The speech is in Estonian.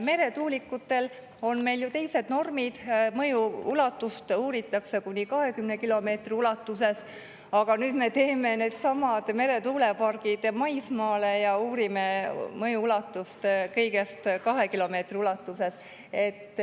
Meretuulikutele on meil ju teised normid, mõju uuritakse 20 kilomeetri ulatuses, aga nüüd me teeme needsamad meretuulepargid maismaale ja uurime mõju kõigest 2 kilomeetri ulatuses.